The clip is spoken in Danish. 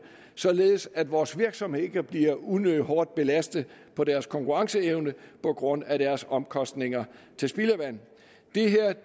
således at vores virksomheder ikke bliver unødig hårdt belastet på deres konkurrenceevne på grund af deres omkostninger til spildevand